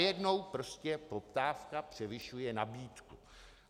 Najednou prostě poptávka převyšuje nabídku.